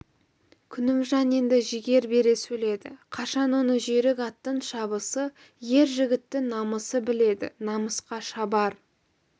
күнімжан енді жігер бере сөйледі қашан оны жүйрік аттың шабысы ер жігіттің намысы біледі намысқа шабар